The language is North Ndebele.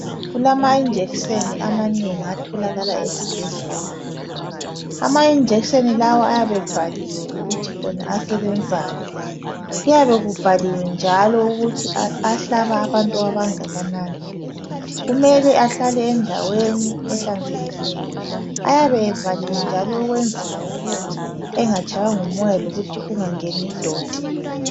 Kulamajekiseni amanengi atholakala ezibhedlela. Amajekiseni lawa ayabe ebhaliwe ukuthi asebenzani. Kuyabe kubhaliwe njalo ukuthi ahlaba abantu abangakanani. Kumele ahlale endaweni ehlanzekileyo. Ayabe evaliwe njalo ukwenzela ukuthi engatshaywa ngumoya lokuthi kungangeni idoti.